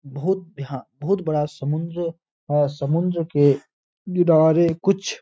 बहोत बहोत बड़ा समुन्द्र है और समुन्द्र के किनारे कुछ --